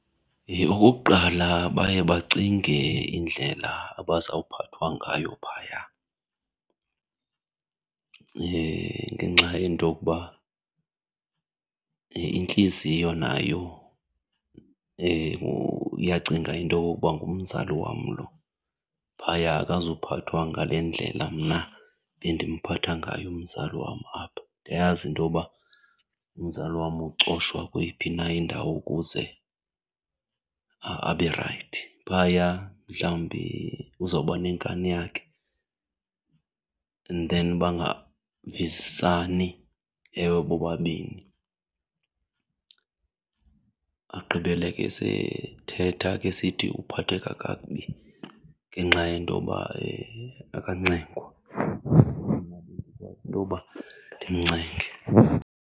Okokuqala, baye bacinge indlela abazawuphathwa ngayo phaya ngenxa yento okuba intliziyo nayo iyacinga into okokuba ngumzali wam loo, phaya akazuphathwa ngale ndlela mna bendimphatha ngayo umzali wam apha. Ndiyayazi intoba umzali wam ucofwa kweyiphi na indawo ukuze abe rayithi. Phaya mhlawumbi uzawuba nenkani yakhe and then bangavisisani ewe bobabini, agqibele ke sethetha ke esithi uphatheka kakubi ngenxa yentoba akancengwa. Mna bendikwazi intoba ndimcenge.